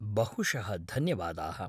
बहुशः धन्यवादाः।